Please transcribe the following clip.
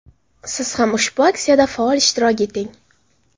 Siz ham ushbu aksiyada faol ishtirok eting.